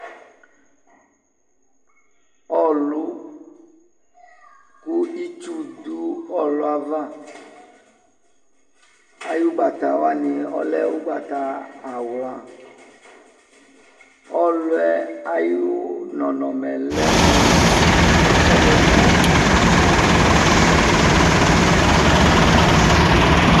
Ɔlʊ kʊ ɩtsʊ dʊ ɔlʊ yɛava ayʊ ʊgbatawanɩ lɛ ʊgbatawla ɔwlʊyɛ lɛmʊ ɔwlɔmɔ